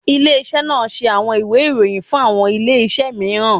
Ile-iṣẹ naa ṣe awọn iwe iroyin, fun awọn ile-iṣẹ miiran